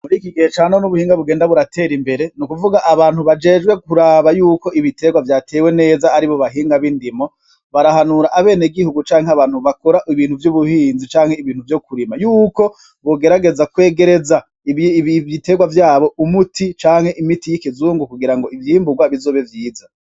Muri iki gihe ca none ubuhinga bugenda buratera imbere ni ukuvuga abantu bajejwe kuraba yuko ibitegwa vyatewe neza aribo bahinga bindimo barahanura abanyagihugu canke abantu bakora ibintu vyo kurima yuko bogerageza kwegereza ibitegwa vyabo umuti canke imiti y'ikizungu kugirango ivyimbugwa bizobe vyiza.